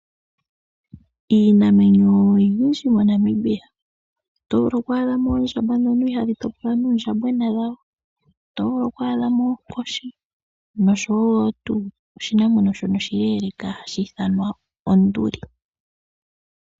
Iinamwenyo oyindji moNamibia. Oto vulu okwaadha mo oondjaba ndhoka ihadhi topoka nuundjambwena wadho, oonkoshi nosho wo oshinamwenyo oshileeleka shono hashi ithanwa onduli.